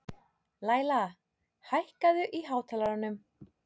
Læla, hækkaðu í hátalaranum.